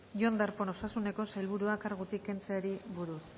jon darpón osasuneko sailburua kargutik kentzeari buruz